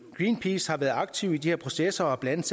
greenpeace har været aktiv i de her processer og blandt